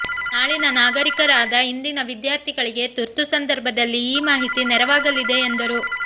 ನಾಳಿನ ನಾಗರಿಕರಾದ ಇಂದಿನ ವಿದ್ಯಾರ್ಥಿಗಳಿಗೆ ತುರ್ತು ಸಂದರ್ಭದಲ್ಲಿ ಈ ಮಾಹಿತಿ ನೆರವಾಗಲಿದೆ ಎಂದರು